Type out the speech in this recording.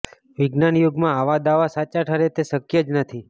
વિજ્ઞાન યુગમાં આવા દાવા સાચા ઠરે તે શક્ય જ નથી